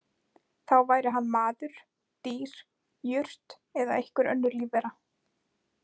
Þá væri hann maður, dýr, jurt eða einhver önnur lífvera.